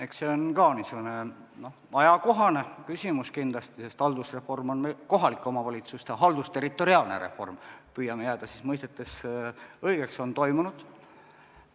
Eks see ole ka niisugune ajakohane küsimus kindlasti, sest haldusreform, õigemini, kohalike omavalitsuste haldusterritoriaalne reform on toimunud.